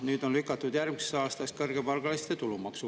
Nüüd on kõrgepalgaliste tulumaksuvabastus lükatud järgmisesse aastasse.